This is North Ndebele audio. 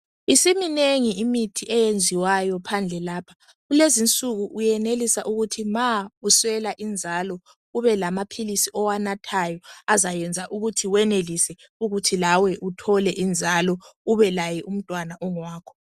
Isiminengi imithi eyenziwayo phandle lapha. Kulezinsuku uyenelisa ukuthi ma uswela inzalo ube lamaphilizi owanathayo azayenza ukuthi wenelise ukuthi lawe uthole inzalo ubelaye umntwana ongowakho.